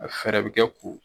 A fɛɛrɛ bɛ kɛ k'o